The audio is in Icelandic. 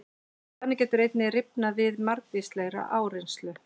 Það getur einnig rifnað við margvíslega áreynslu.